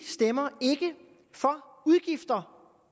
stemmer for udgifter